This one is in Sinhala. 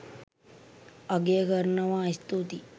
අගය කරනවා ස්තුතියි